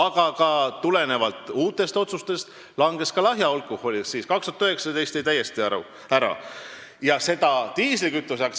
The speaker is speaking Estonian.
Aga uute otsuste valguses on ka lahja alkoholi aktsiis langenud ja 2019. aastal jääb tõus täiesti ära.